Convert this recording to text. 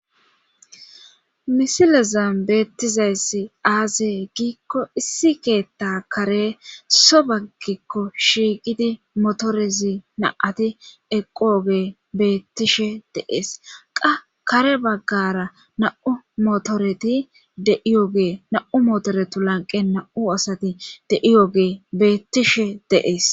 misilezam beettizayssi aaze giikko issi keetta kare so baggikko shiiqidi motorezi naati eqooge beettishe deees qa kare baggara na7u motoreti deiyoge na7u motoretu lanqe na7u asati deiyoge beettishe deees